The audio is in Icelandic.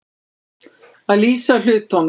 Að lýsa hlutunum